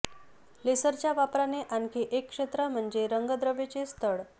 लेसरच्या वापराचे आणखी एक क्षेत्र म्हणजे रंगद्रव्यचे स्थळ